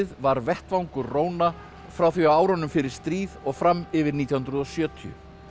var vettvangur róna frá því á árunum fyrir stríð og fram yfir nítján hundruð og sjötíu